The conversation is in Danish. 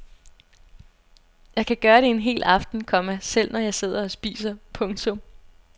Jeg kan gøre det en hel aften, komma selv når jeg sidder og spiser. punktum